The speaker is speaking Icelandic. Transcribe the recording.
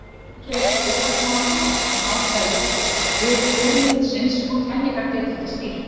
Stundum kemur upp óvænt vandamál sem aðferðir viðmiðsins og kenningar geta ekki skýrt.